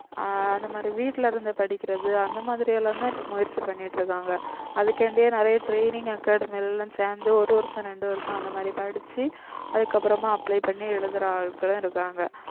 ஆஹ் அந்த மாதிரி வீட்டுல இருந்து படிக்கிறது அந்த மாதிரி எல்லாம் தான் இப்ப முயற்சி பண்ணிட்டிருக்காங்க அதுக்காண்டியே நிறைய training academy எல்லாம் சேர்ந்து ஒரு வருஷம் ரெண்டு வருஷம் அந்த மாதிரி படிச்சு அதுக்கப்புறமா apply பண்ணி எழுதுற ஆட்களும் இருக்காங்க